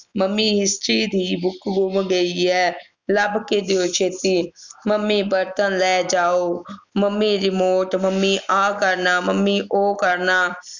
mummy history ਦੀ book ਗੁੰਮ ਗਈ ਹੈ ਲੱਭ ਕੇ ਦਿਓ ਛੇਤੀ ਮੰਮੀ ਬਰਤਨ ਲੈ ਜਾਓ ਮੰਮੀ remort ਮੰਮੀ ਆ ਕਰਨਾ ਮੰਮੀ ਉਹ ਕਰਨਾ